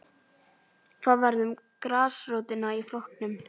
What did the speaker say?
Hvað varð um grasrótina í flokknum?